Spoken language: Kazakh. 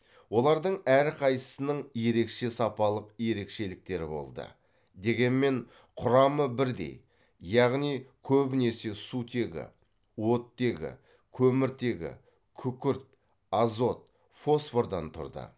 олардың әрқайсысының ерекше сапалық ерекшеліктері болды дегенмен құрамы бірдей яғни көбінесе сутегі оттегі көміртегі күкірт азот фосфордан тұрды